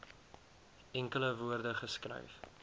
enkele woorde geskryf